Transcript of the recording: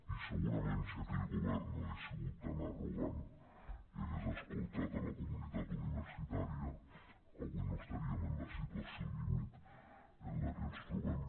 i segurament si aquell govern no hagués sigut tan arrogant i hagués escoltat la comunitat universitària avui no esta·ríem en la situació límit en la que ens trobem